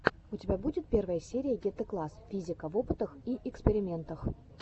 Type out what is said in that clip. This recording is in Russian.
у тебя будет первая серия гетэкласс физика в опытах и экспериментах